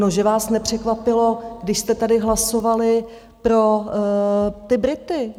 No že vás nepřekvapilo, když jste tady hlasovali pro ty Brity?